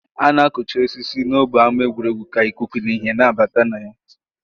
A na-akụcha osisi n'ógbè ama egwuregwu ka ikuku nakwa uhie na-abata na ya